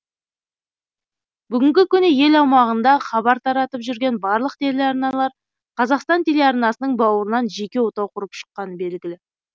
бүгінгі күні ел аумағында хабар таратып жүрген барлық телеарналар қазақстан телеарнасының бауырынан жеке отау құрып шыққаны белгілі